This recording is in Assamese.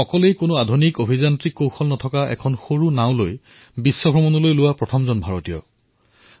তেওঁ অকলেই কোনো আধুনিক প্ৰযুক্তি অবিহনে এখন সৰু নাৱত বিশ্ব ভ্ৰমণ কৰা প্ৰথমগৰাকী ভাৰতীয় আছিল